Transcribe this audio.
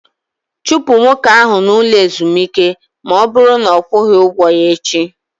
Chụpụ nwoke ahụ n'ụlọ ezumike na ọ bụrụ na ọ kwughi ụgwọ ya echi!